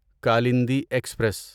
Kalindi express